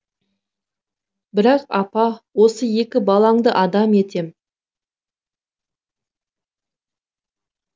бірақ апа осы екі балаңды адам етем